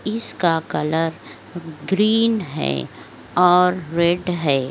इस का colour green है और रेड है।